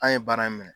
An ye baara in minɛ